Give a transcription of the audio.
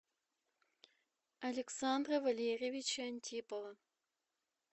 александра валерьевича антипова